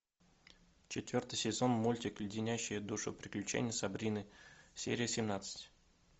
четвертый сезон мультик леденящие душу приключения сабрины серия семнадцать